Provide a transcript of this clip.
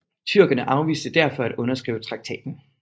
Tyrkerne afviste derfor at underskrive traktaten